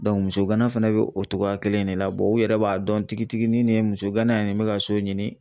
muso gana fɛnɛ be o togoya kelen de la u yɛrɛ b'a dɔn tigitigi ni nin ye muso gana ye nin bɛ ka so ɲini